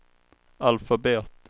alfabet